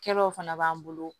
Kɛlaw fana b'an bolo